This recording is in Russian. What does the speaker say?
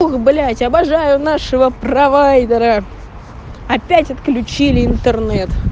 ох блять обожаю нашего провайдера опять отключили интернет